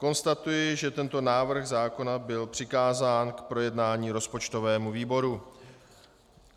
Konstatuji, že tento návrh zákona byl přikázán k projednání rozpočtovému výboru.